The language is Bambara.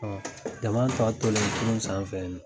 Jama tɔ tolen kurun sanfɛ